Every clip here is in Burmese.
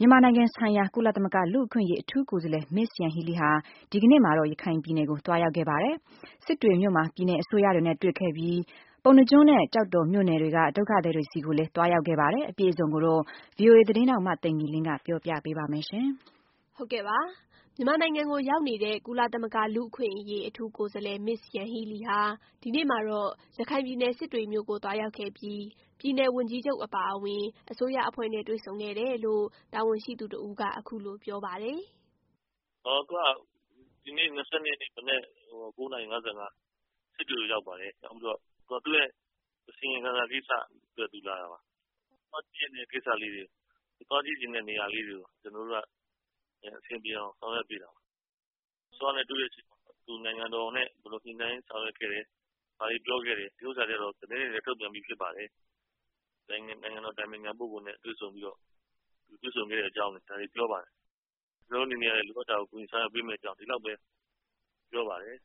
မြန်မာနိုင်ငံဆိုင်ရာ ကုလသမဂ္ဂလူ့အခွင့်အရေးအထူးကိုယ်စားလှယ် Ms. Yanghee Lee ဟာ ဒီနေ့မှာတော့ ရခိုင်ပြည်နယ်ကို သွားရောက်ခဲ့ပါတယ်။ စစ်တွေမြို့မှာ ပြည်နယ်အစိုးရတွေနဲ့ တွေ့ဆုံခဲ့ပြီး ပုဏ္ဏားကျွန်း နဲ့ ကျောက်တော် မြို့နယ်တွေက ဒုက္ခသည်တွေ ကိုလည်း သွားရောက်ခဲ့ပါတယ်။ VOA သတင်းထောက် မသိင်္ဂ ီလင်းက ပြောပြပေးပါမယ်။ မြန်မာနိုင်ငံကိုရောက်နေတဲ့ ကုလသမဂ္ဂလူ့အခွင့်အရေးအထူးကိုယ်စားလှယ် Ms. Yanghee lee ဟာ ဒီနေ့မှာတော့ ရခိုင်ပြည်နယ် စစ်တွေမြို့ကို သွားရောက်ခဲ့ပြီး ပြည်နယ် ဝန်ကြီးချုပ်အပါအဝင် အစိုးရအဖွဲ့နဲ့ တွေ့ဆုံခဲ့တယ်လို့ တာဝန်ရှိသူတစ်ဦးက အခုလို ပြောပါတယ်။ “ဒီနေ့ ၂၂ ရက်နေ့မနက် ၉နာရီ ၅၅ မှာ စစ်တွေကိုရောက်ပါတယ်။ ရောက်ပြီးတော့ သူ့ရဲ့ အစီရင်ခံစာကိစ္စအတွက် သူလာတာပါ။ သူသိချင်တဲ့ကိစ္စလေးတွေ၊ သူကြည့်ချင်တဲ့နေရာလေးတွေကို ကျနော်တို့က အဆင်ပြေအောင်ဆောင်ရွက်ပေးတာပါ။ အစိုးရ နဲ့တွေ့တဲ့အချိန်မှာ သူနိုင်ငံတော်အတိုင်ပင်ခံပုဂ္ဂိုလ်နဲ့ ဘယ်လိုညှိနှိုင်းဆောင်ရွက်ခဲ့တယ် ဘာတွေပြောခဲ့တယ်ဆိုတာတွေကတော့သတင်းတွေလည်းထုတ်ပြန်ပြီးသားဖြစ်ပါတယ်။ သူနိုင်ငံတော်အတိုင်ပင်ခံပုဂ္ဂိုလ်နဲ့ သူတွေ့ဆုံခဲ့တဲ့အကြောင်း ပြောပါတယ်။ ကျနော်တို့အနေနဲ့ကလည်း လိုအပ်တာကို ကူညီဆောင်ရွက်ပေးမယ့်အကြောင်း ဒီလောက်ပဲပြောပါတယ်။”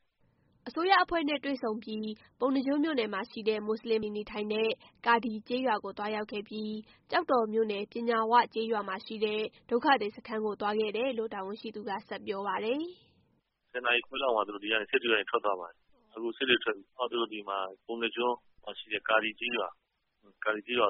အစိုးရအဖွဲ့နဲ့ တွေ့ဆုံပြီး ပုဏ္ဏားကျွန်းမြို့နယ်မှာရှိတဲ့ မူစလင်များနေထိုင်တဲ့ ကာဒီကျေးရွာကို သွားရောက်ခဲ့ပြီးနောက် ကျောက်တော်မြို့နယ်၊ ပညာဝကျေးရွာမှာရှိတဲ့ ဒုက္ခသည်စခန်းကို သွားခဲ့တယ်လို့ တာဝန်ရှိသူက ဆက်ပြောပါတယ်။ “၁၀ နာရီခွဲလောက်မှာသူတို့ စစ်တွေကနေထွက်သွားပါတယ်။ ပုဏ္ဏားကျွန်းမှာရှိတဲ့ ကာဒီကျေးရွာသွား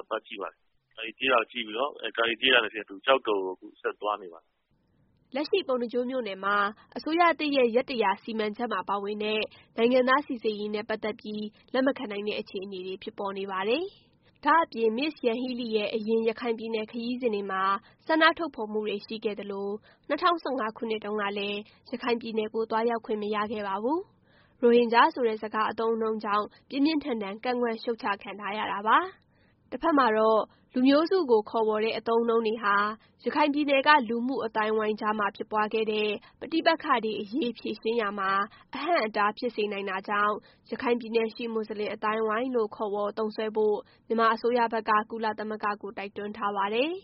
ပါတယ်။ အဲဒီ ကာဒီကျေးရွာကနေတဆင့် ကျောက်တော်ကို သွားနေပါတယ်။” လက်ရှိ ပုဏ္ဏားကျွန်းမြို့နယ်မှာ အစိုးရသစ်ရဲ့ ရက် ၁၀၀ စီမံချက်မှာပါဝင်တဲ့ နိုင်ငံသားစိစစ်ရေးနဲ့ ပတ်သက်ပြီး လက်မခံနိုင်တဲ့ အခြေအနေတွေ ဖြစ်ပေါ်နေပါတယ်။ ဒါ့အပြင် Ms. Yanghee Lee ရဲ့အရင် ရခိုင်ပြည်နယ် ခရီးစဉ်တွေမှာ ဆန္ဒထုတ်ဖော်မှုတွေရှိခဲ့သလို ၂၀၁၅ ခုနှစ်တုန်းကလည်း ရခိုင်ပြည်နယ်ကို သွားရောက်ခွင့်မရခဲ့ပါဘူး။ ရိုဟင်ဂျာ ဆိုတဲ့ စကားအသုံးအနှုန်းကြောင့် ပြင်းပြင်းထန်ထန် ကန့်ကွက်ရှုပ်ချခံထားရတာပါ။ တဖက်မှာတော့ လူမျိုးစုကို ခေါ်ဝေါ်တဲ့ အသုံးအနှုန်းတွေဟာ ရခိုင်ပြည်နယ်က လူမှုအသိုင်းအဝိုင်းကြားမှာ ဖြစ်ပွားခဲ့တဲ့ ပဋိပက္ခတွေ အရေး ဖြေရှင်းရာမှာ အဟန့်အတား ဖြစ်စေနိုင်တာကြောင့် "ရခိုင်ပြည်နယ်ရှိ မူစလင်အသိုင်းအဝိုင်း" လို့ ခေါ်ဝေါ်သုံးစွဲဖို့ မြန်မာအစိုးရဖက်က ကုသမဂ္ဂကို တိုက်တွန်းထားပါတယ်။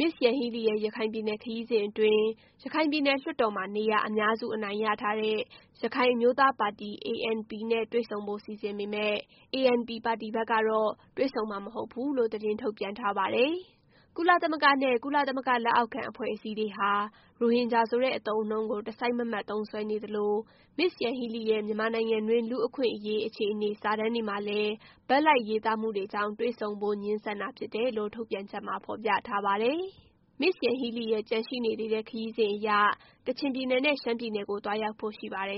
Ms. Yanghee Lee ရဲ့ ရခိုင်ပြည်နယ် ခရီးစဉ်အတွင်း ရခိုင်ပြည်နယ် လွှတ်တော်မှာ နေရာအများစုအနိုင်ရထားတဲ့ ရခိုင်အမျိုးသားပါတီ ANP နဲ့တွေ့ဆုံဖို့စီစဉ်ပေမယ့် ANP ပါတီဘက်ကတော့ တွေ့ဆုံမှာမဟုတ်ဘူးလို့ သတင်းထုတ်ပြန်ထားပါတယ်။ ကုလသမဂ္ဂနဲ့ ကုလသမဂ္ဂလက်အောက်ခံအဖွဲ့အစည်းတွေဟာ ရိုဟင်ဂျာဆိုတဲ့ အသုံးအနှုန်းကို တစိုက်မတ်မတ်သုံးစွဲနေသလို၊ Ms. Yanghee Lee ရဲ့ မြန်မာနိုင်ငံတွင်း လူ့အခွင့်အရေး အခြေအနေစာတမ်းတွေမှာလည်း ဘက်လိုက်ရေးသားမှုတွေကြောင့် တွေ့ဆုံဖို့ ငြင်းဆန်တာဖြစ်တယ်လို့ ထုတ်ပြန်ချက်မှာဖော်ပြထားပါတယ်။ Ms. Yanghee Lee ရဲ့ ကျန်ရှိနေသေးတဲ့ ခရီးစဉ်အရ ကချင်ပြည်နယ်နဲ့ ရှမ်းပြည်နယ်ကို သွားရောက်ဖို့ရှိပါတယ်